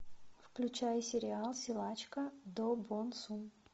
включай сериал силачка до бон сун